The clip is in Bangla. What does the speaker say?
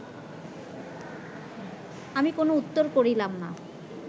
আমি কোন উত্তর করিলাম না